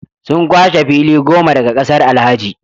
Sun kwashe fili goma daga kasar Alhaji